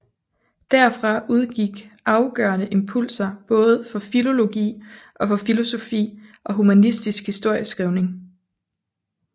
Derfra udgik afgørende impulser både for filologi og for filosofi og humanistisk historieskrivning